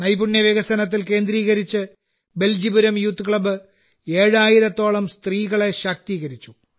നൈപുണ്യ വികസനത്തിൽ കേന്ദ്രീകരിച്ച് ബെൽജിപുരം യൂത്ത് ക്ലബ് 7000 ത്തോളം സ്ത്രീകളെ ശാക്തീകരിച്ചു